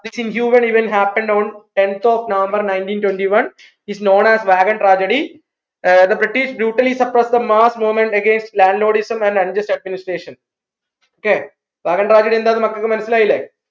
which even happened on tenth of November nineteen twentyone is known as wagon tragedy uh the British brutally supressed the mass movement against land lordism and administration okay wagon tragedy എന്താണ് മക്കക്ക് മനസ്സിലായില്ലെ